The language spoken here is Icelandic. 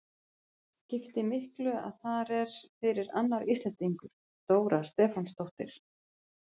Skipti miklu að þar er fyrir annar Íslendingur, Dóra Stefánsdóttir?